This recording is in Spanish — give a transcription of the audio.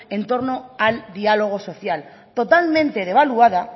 en torno al diálogo social totalmente devaluada